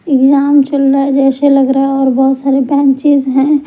Exam चल रहा है जैसे लग रहा है और बहुत सारे बेंचेस हैं।